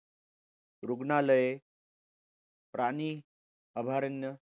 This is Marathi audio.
रुग्णालय राणी अभयारण्य